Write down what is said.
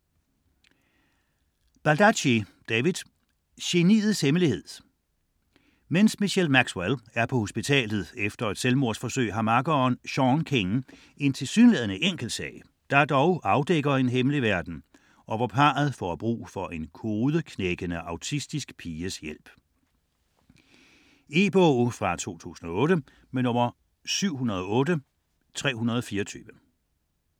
Baldacci, David: Geniets hemmelighed Mens Michelle Maxwell er på hospitalet efter et selvmordsforsøg har makkeren, Sean King, en tilsyneladende enkel sag, der dog afdækker en hemmelig verden og hvor parret får brug for en kodeknækkende autistisk piges hjælp. E-bog 708324 2008.